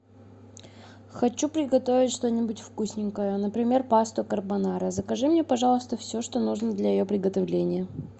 хочу приготовить что нибудь вкусненькое например пасту карбонара закажи мне пожалуйста все что нужно для ее приготовления